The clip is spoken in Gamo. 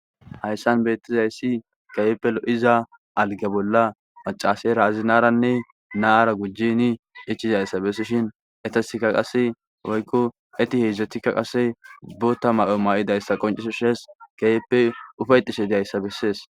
Hayissan bettizayisi kehippe lo'iza algga bolla maccasera azinara na'ara gujjin ichidayisa besishin etasika qase woyiko eti hedzdzatika qase botta mayo may'idaysa qonccises kehippe ufdayetishe dizayisa beses.